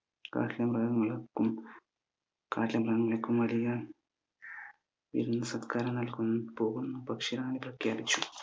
കാട്ടിലെ മൃഗങ്ങൾക്കും കാട്ടിലെ മൃഗങ്ങൾക്കും വലിയ വിരുന്ന് സൽക്കാരം നൽകുന്നു പോകുന്നു പക്ഷെ